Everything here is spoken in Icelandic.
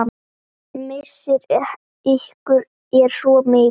Missir ykkar er svo mikill.